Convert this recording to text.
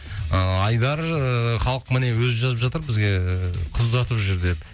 ыыы айдар ыыы халық міне өзі жазып жатыр бізге ыыы қыз ұзатып жүр деп